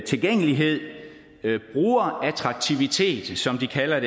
tilgængelighed brugerattraktivitet som de kalder